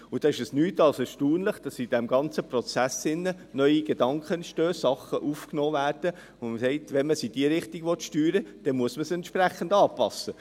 Da ist es nichts als erstaunlich, dass in diesem ganzen Prozess neue Gedanken entstehen, Dinge aufgenommen werden, von denen man sagt: «Wenn man sie in diese Richtung steuern will, muss man dies entsprechend anpassen.